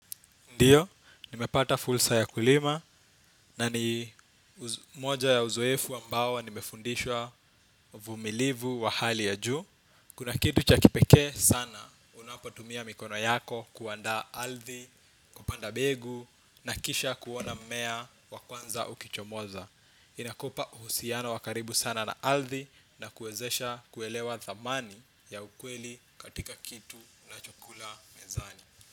Ndiyo, nimepata fursa ya kulima na ni moja ya uzoefu ambao nimefundishwa uvumilivu wa hali ya juu. Kuna kitu cha kipekee sana, unapotumia mikono yako kuandaa althi, kupanda begu na kisha kuona mmea wa kwanza ukichomoza. Inakupa uhusiano wa karibu sana na althi na kuwezesha kuelewa thamani ya ukweli katika kitu nachokula mezani.